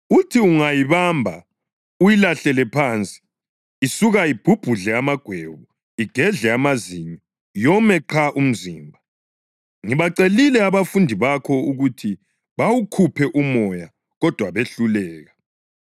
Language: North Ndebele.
Uthi ungayibamba uyilahlele phansi. Isuka ibhubhudle amagwebu, igedle amazinyo, yome qha umzimba. Ngibacelile abafundi bakho ukuthi bawukhuphe umoya, kodwa behluleka.”